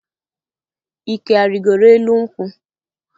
Ike arịgoro elu nkwụ?